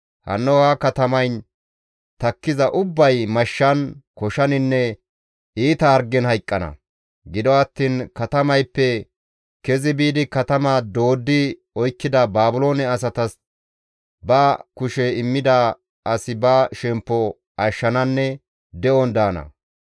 Hanno ha katamayn takkiza ubbay mashshan, koshaninne iita hargen hayqqana; gido attiin katamayppe kezi biidi katama dooddi oykkida Baabiloone asatas ba kushe immida asi ba shemppo ashshananne de7on daana.